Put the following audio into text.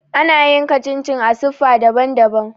Ana yanka chin chin a siffa daban-daban.